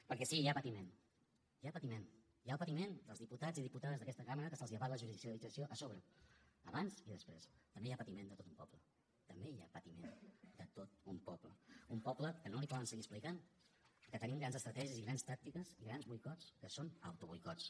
perquè sí hi ha patiment hi ha patiment hi ha el patiment dels diputats i diputades d’aquesta cambra que se’ls abat la judicialització a sobre abans i després també hi ha patiment de tot un poble també hi ha patiment de tot un poble un poble que no li poden seguir explicant que tenim grans estratègies i grans tàctiques i grans boicots que són autoboicots